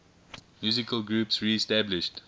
musical groups reestablished